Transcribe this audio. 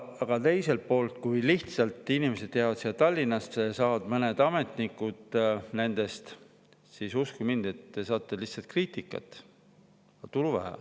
Aga teiselt poolt, kui need inimesed jäävad siia Tallinna, nendest saavad ametnikud, siis uskuge mind, te saate lihtsalt kriitikat, aga tulu on vähe.